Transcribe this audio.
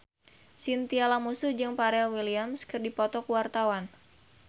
Chintya Lamusu jeung Pharrell Williams keur dipoto ku wartawan